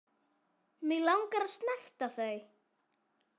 Mig langar að snerta þau.